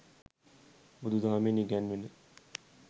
බුදුදහමෙන් ඉගැන්වෙන